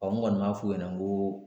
n kɔni m'a f'u ɲɛna n ko